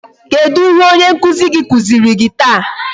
Kedụ ihe onye nkụzi gị kụziri gị taa?